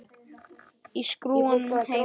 Í skúrnum heima.